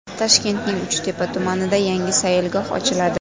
Toshkentning Uchtepa tumanida yangi sayilgoh ochiladi .